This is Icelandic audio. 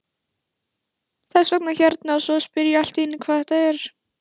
Þess vegna hérna og svo spyr ég allt í einu hvað er þetta?